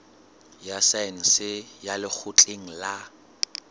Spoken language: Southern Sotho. ya saense ya lekgotleng la